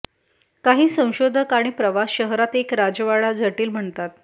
काही संशोधक आणि प्रवास शहरात एक राजवाडा जटिल म्हणतात